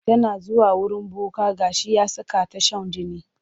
Tana zuwa wurin boka ga shi ya saka ta shan jini.